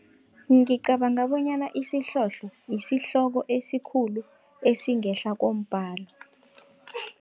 Ngicabanga bonyana isihlohlo, isihloko esikhulu esingehla kombhalo.